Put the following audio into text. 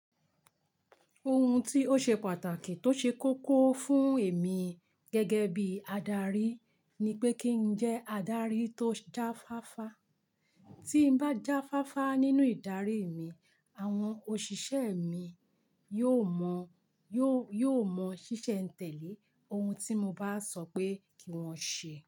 Ohun tí ó ṣe pàtàkì tó ṣe koko fún èmi gẹ́gẹ́ bí adarí ni pé kí n jẹ́ adarí tó jáfáfá. Tí n bá jáfáfá nínú ìdarí mi, àwọn òṣìṣẹ́ mi yóò mọ, yóò, yóò mọ ṣíṣẹ́ ń tẹ̀lé ohun tí mo bá sọ pé kí wọ́n ṣe.